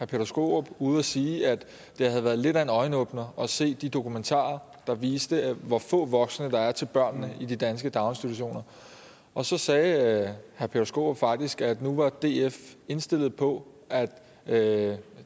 peter skaarup ude at sige at det havde været lidt af en øjenåbner at se de dokumentarer der viste hvor få voksne der er til børnene i de danske daginstitutioner og så sagde herre peter skaarup faktisk at nu var df indstillet på at tage